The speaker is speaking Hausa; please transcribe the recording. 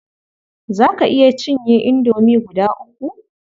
Za ka iya cinye indomie guda uku?